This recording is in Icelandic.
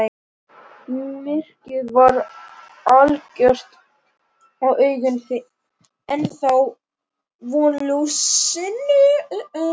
Myrkrið var algjört og augun ennþá vön ljósinu.